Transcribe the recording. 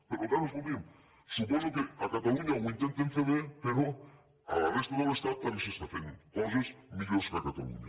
per tant escolti’m su poso que a catalunya ho intenten fer bé però a la resta de l’estat també s’estan fent coses millors que a catalunya